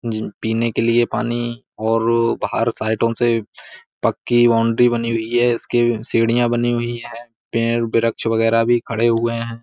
जिन पीने के लिए पानी और बाहर साइडों से पक्की बाउंड्री बनी हुई है इसके सीढियां बनी हुई है पेड़ वृक्ष वगेरा भी खड़े हुए हैं।